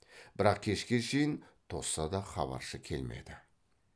бірақ кешке шейін тосса да хабаршы келмеді